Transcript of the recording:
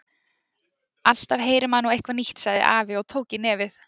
Alltaf heyrir maður nú eitthvað nýtt sagði afi og tók í nefið.